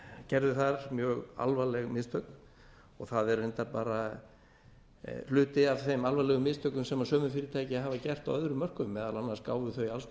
gerðu þar mjög alvarleg mistök og það er reyndar hluti af þeim alvarlegu mistökum sem sömu fyrirtæki hafa gert á öðrum mörkuðum meðal annars gáfu þau alls